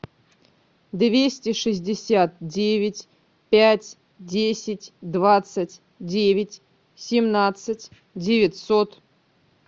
двести шестьдесят девять пять десять двадцать девять семнадцать девятьсот